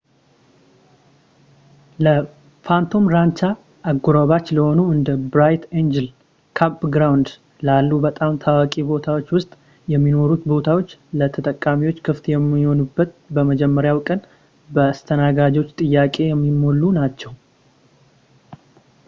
ለphantom rancha አጎራባች ለሆኑ እንደ bright angel campground ላሉ በጣም ታዋቂ ቦታዎች ውስጥ የሚኖሩት ቦታዎች፣ ለተጠቃሚዎች ክፍት በሚሆኑበት በመጀመሪያው ቀን በተስተናጋጆች ጥያቄ የሚሞሉ ናቸው